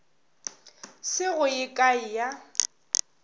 se go ye kae ya